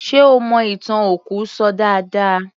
Ṣe ó mọ ìtàn òkú ṣọ dáadáa